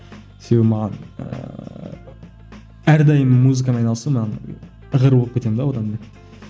себебі маған ііі әрдайым музыкамен айналысу маған ығыр болып кетемін де одан мен